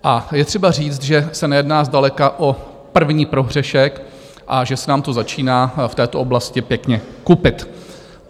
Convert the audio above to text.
A je třeba říct, že se nejedná zdaleka o první prohřešek a že se nám to začíná v této oblasti pěkně kupit.